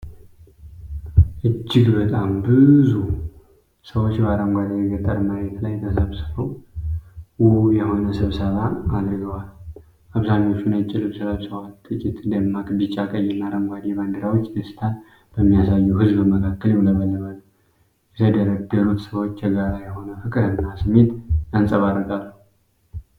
እጅግ በጣም ብዙ ሰዎች በአረንጓዴ የገጠር መሬት ላይ ተሰብስበው ውብ የሆነ ስብሰባ አድርገዋል። አብዛኛዎቹ ነጭ ልብስ ለብሰዋል፤ ጥቂት ደማቅ ቢጫ፣ ቀይና አረንጓዴ ባንዲራዎች ደስታን በሚያሳየው ህዝብ መካከል ይውለበለባሉ። የተደረደሩት ሰዎች የጋራ የሆነ ፍቅርና ስሜት ያንጸባርቃሉ።